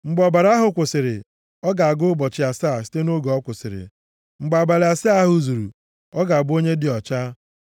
“ ‘Mgbe ọbara ahụ kwụsịrị, ọ ga-agụ ụbọchị asaa site nʼoge ọ kwụsịrị. Mgbe abalị asaa ahụ zuru, ọ ga-abụ onye dị ọcha.